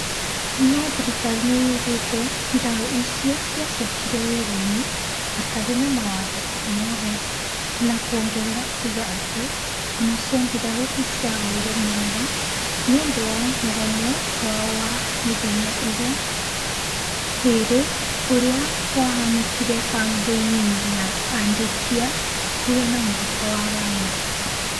No thirikari nĩyugĩte mbirarũ icio ciacokĩre wĩra-inĩ hatarĩ na mawatho omothe , na kuongerera kuga atĩ onacio mbirarũ nĩciahoire mũhera nĩũndũ wa mũgomo wao wa mĩthenya ĩrĩ ũrĩa wahanĩkire kambĩ-inĩ ya Adiake hakuhĩ na mũhaka wa Ghana